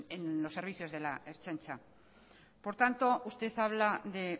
en los servicios de la ertzaintza por tanto usted habla de